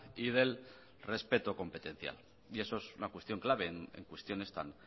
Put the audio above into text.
y del respeto competencial y eso es una cuestión clave en cuestiones tan